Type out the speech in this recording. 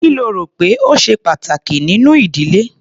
Kí lo rò pé ó ṣe pàtàkì nínú ìdílé?